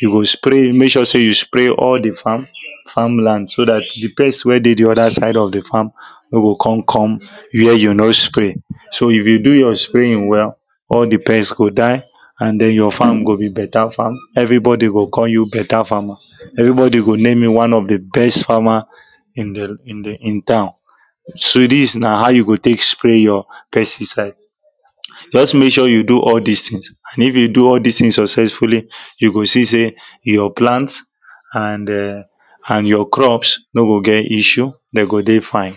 you go spray make sure say you spray all the farm farmland so that the pests wey dey the other side of the farm no go ko?n come where you no spray so if you do your spraying well all the pests go die and then your farm go be better farm everybody go call you better farmer everybody go name you one of the best farmer in the in the in town so this na how you go take spray your pesticide just make sure you do all this things and if you do all this things successfully you go see say your plants and e?n and your crops no go get issue they go dey fine